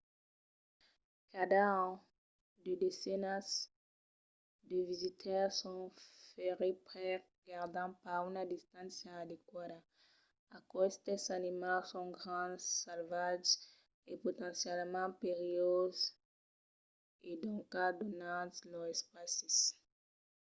cada an de desenas de visitaires son ferits perque gardan pas una distància adeqüada. aquestes animals son grands salvatges e potencialament perilhoses e doncas donatz-lor lor espaci